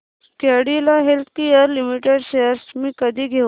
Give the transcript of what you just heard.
Cadila healthcare limited shares मी कधी घेऊ